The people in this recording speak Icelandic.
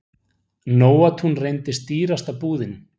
Nóatún reyndist dýrasta búðin.